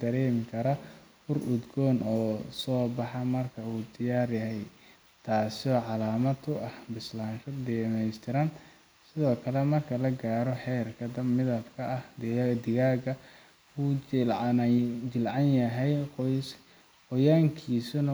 daro dhir udgoon sida, toonta, iyo basasha si uu uga dhigo digaagga mid udgoon oo ay si fudud u aqbalaan dadka cunaya.